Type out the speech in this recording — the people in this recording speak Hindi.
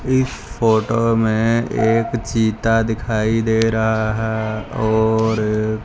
इस फोटो में एक चीता दिखाई दे रहा है और--